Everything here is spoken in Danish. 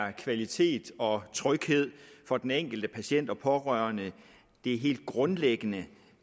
er kvalitet og tryghed for den enkelte patient og pårørende den helt grundlæggende